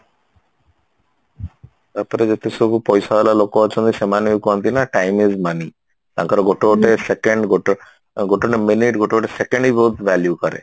ତାପରତେ ଯେତେ ସବୁ ପଇସା ବାଲା ଲୋକ ଅଛନ୍ତି ସେମାନେ ବି କହନ୍ତି ନା time is money ତାଙ୍କର ଗୋଟେ ଗୋଟେ second ଗୋଟେ ଗୋଟେ minute ଗୋଟେ ଗୋଟେ second ବି ବହୁତ value କରେ